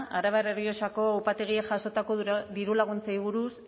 arabar errioxako upategiek jasotako dirulaguntzei buruz